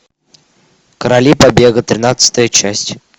короли побега тринадцатая часть